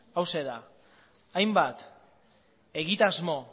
hauxe da hainbat egitasmo